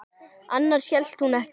Annars hét hún ekki